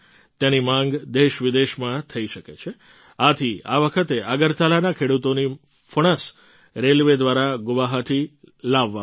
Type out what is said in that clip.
તેની માગ દેશવિદેશમાં થઈ શકે છે આથી આ વખતે અગરતલાના ખેડૂતોની ફણસ રેલવે દ્વારા ગુવાહાટી લાવવામાં આવી